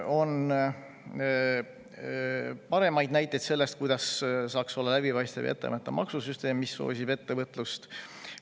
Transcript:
On paremaid näiteid selle kohta, milline saaks olla läbipaistev ja etteaimatav maksusüsteem, mis soosib ettevõtlust.